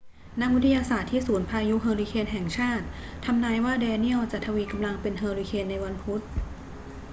นักวิทยาศาสตร์ที่ศูนย์พายุเฮอร์ริเคนแห่งชาติทำนายว่าแดเนียลจะทวีกำลังเป็นเฮอร์ริเคนในวันพุธ